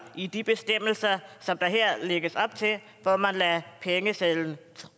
i de bestemmelser som der her lægges op til hvor man lader pengesedlerne